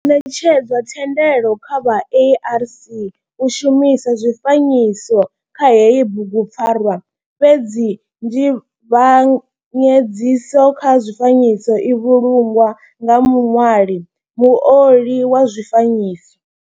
Ho netshedzwa thendelo kha vha ARC u shumisa zwifanyiso kha heyi bugupfarwa fhedzi nzivhanyedziso kha zwifanyiso i vhulungwa nga muṋwali muoli wa zwifanyiso.